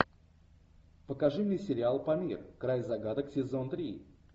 покажи мне сериал памир край загадок сезон три